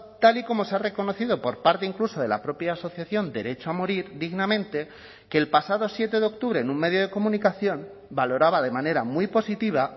tal y como se ha reconocido por parte incluso de la propia asociación derecho a morir dignamente que el pasado siete de octubre en un medio de comunicación valoraba de manera muy positiva